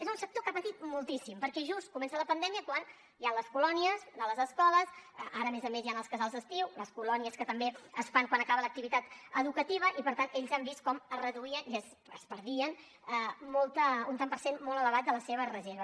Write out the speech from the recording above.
és un sector que ha patit moltíssim perquè just comença la pandèmia quan hi han les colònies de les escoles ara a més a més hi han els casals d’estiu les colònies que també es fan quan acaba l’activitat educativa i per tant ells han vist com es reduïa i es perdia un tant per cent molt elevat de la seva reserva